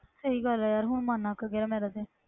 ਸਹੀ ਗੱਲ ਹੈ ਯਾਰ ਹੁਣ ਮਨ ਅੱਕ ਗਿਆ ਮੇਰਾ ਤੇ,